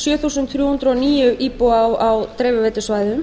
sjö þúsund þrjú hundruð og níu íbúa á dreifiveitusvæðum